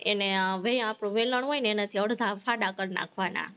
એને વેલણ, વેલણ હોય ને એનાથી અડધા ફાડા કરી નાખવાના